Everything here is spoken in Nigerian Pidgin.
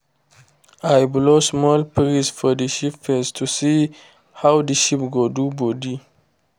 i blow small breeze for the sheep face to see how the sheep go do body